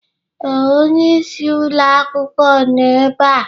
Ee, onye isi ụlọ akwụkwọ nọ ebe a.